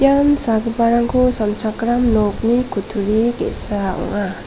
ian sagiparangko sanchakram nokni kutturi ge·sa ong·a.